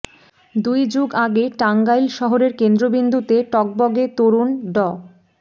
দুই যুগ আগে টাঙ্গাইল শহরের কেন্দ্রবিন্দুতে টগবগে তরুণ ড